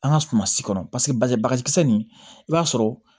An ka suma si kɔrɔ paseke bagakisɛ nin i b'a sɔrɔ